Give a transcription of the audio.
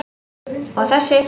Og þessi?